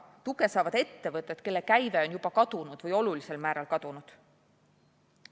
Tuge saavad ettevõtted, kelle käive on juba kadunud või olulisel määral kadunud.